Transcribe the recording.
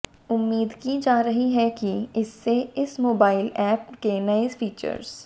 उम्मीद की जा रही है कि इससे इस मोबाइल ऐप के नए फीचर्स